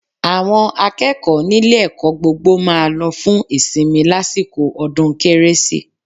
Àwọn akẹ́kọ̀ọ́ nílé ẹ̀kọ́ gbogbo máa lọ fún ìsinmi lásìkò ọdún kérésì